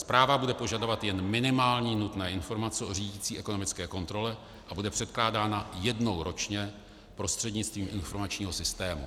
Zpráva bude požadovat jen minimální nutné informace o řídicí ekonomické kontrole a bude předkládána jednou ročně prostřednictvím informačního systému.